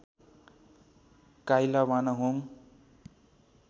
काइला वानाहोङ